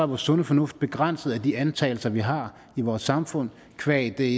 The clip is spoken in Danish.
vores sunde fornuft begrænset af de antagelser vi har i vores samfund qua det